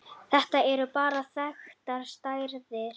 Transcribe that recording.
Þetta eru bara þekktar stærðir.